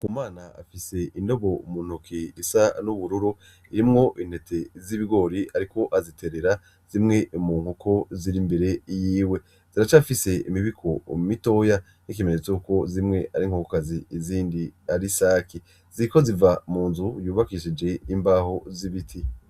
Ndikumana afise indobo muntoke isa n'ubururu irimwo intete zibigori ariko azitererera zimwe mu nkoko ziri imbere yiwe, ziracafise imibiko mitoya bk’ikimenyetso cuko zimwe ari inkokokazi izindi, ari isake ziriko ziva mu nzu yubakishije imbaho zibiti.